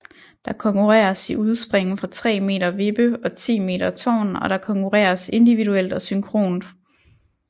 Der konkurreres i udspring fra 3 meter vippe og 10 meter tårn og der konkurreres individuelt og synkront